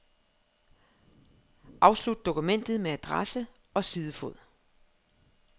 Afslut dokumentet med adresse og sidefod.